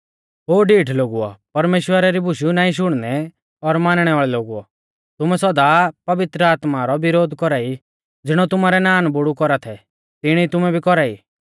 ओ ढीठ लोगुओ परमेश्‍वरा री बुशु नाईं शुणनै और मानणै वाल़ै लोगुओ तुमै सौदा पवित्र आत्मा रौ विरोध कौरा ई ज़िणौ तुमारै नानबुड़ु कौरा थै तिणी तुमै भी कौरा ई